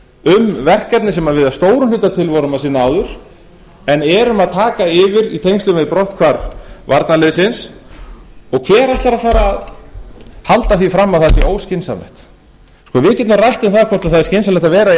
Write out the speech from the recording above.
um verkefni sem við að stórum hluta til vorum að sinna áður en erum að taka yfir í tengslum við brotthvarf varnarliðsins og hver ætlar að fara að halda því fram að það sé óskynsamlegt við getum rætt um það hvort það sé skynsamlegt að